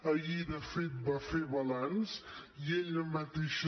ahir de fet va fer balanç i ella mateixa